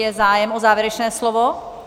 Je zájem o závěrečné slovo?